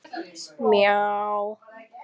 Þau verða samferða út úr húsinu.